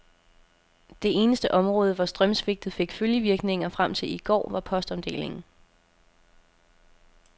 Det eneste område, hvor strømsvigtet fik følgevirkninger frem til i går, var postomdelingen.